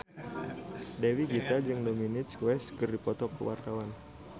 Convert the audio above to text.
Dewi Gita jeung Dominic West keur dipoto ku wartawan